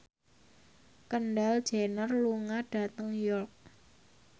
Kendall Jenner lunga dhateng York